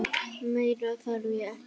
Meira þarf ég ekki.